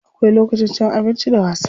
Akwai lokacin cin abinci da wasa.